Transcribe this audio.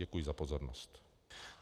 Děkuji za pozornost.